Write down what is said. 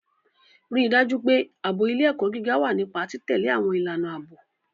Rí i dájú pé ààbò ilé-ẹ̀kọ́ gíga wà nípa títẹ̀lé àwọn ìlànà ààbò.